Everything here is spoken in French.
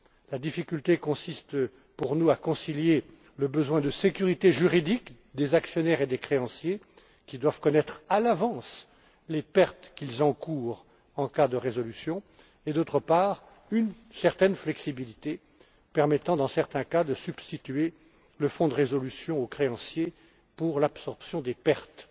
La difficulté consiste pour nous à concilier, d'une part, le besoin de sécurité juridique des actionnaires et des créanciers qui doivent connaître à l'avance les pertes qu'ils encourent en cas de faillite et, d'autre part, une certaine flexibilité permettant, dans certains cas, de substituer le fonds de résolution aux créanciers pour l'absorption des pertes.